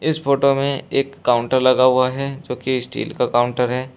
Photo में एक counter लगा हुआ है जो कि स्टील का काउंटर है।